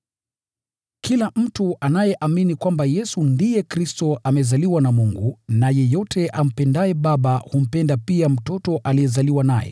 Kila mtu anayeamini kwamba Yesu ndiye Kristo amezaliwa na Mungu, na yeyote ampendaye Baba humpenda pia mtoto aliyezaliwa naye.